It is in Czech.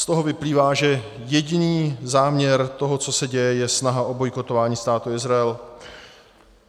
Z toho vyplývá, že jediný záměr toho, co se děje, je snaha o bojkotování Státu Izrael.